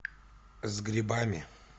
с грибами